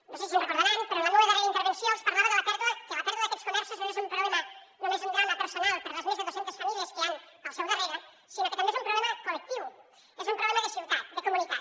no sé si se’n deuen recordar però en la meua darrera intervenció els parlava que la pèrdua d’aquests comerços no és només un drama personal per a les més de dos centes famílies que hi han al seu darrere sinó que també és un problema collectiu és un problema de ciutat de comunitat